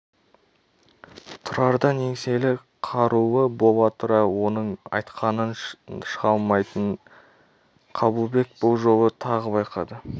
тұрардан еңселі қарулы бола тұра оның айтқанынан шыға алмайтынын қабылбек бұл жолы тағы байқады